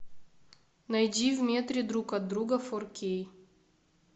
найди в метре друг от друга фор кей